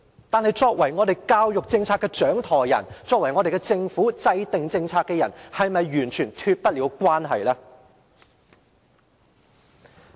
但是，作為教育政策的掌舵人，作為政府的政策制訂者，是否完全脫得了關係？